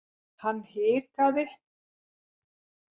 Hann hikaði.